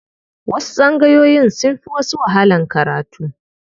Wasu tsangayoyin sun fi wasu wahalan karatu.